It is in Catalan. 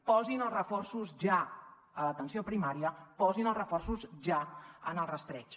posin els reforços ja a l’atenció primària posin els reforços ja en el rastreig